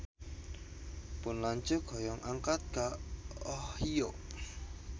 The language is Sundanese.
Pun lanceuk hoyong angkat ka Ohio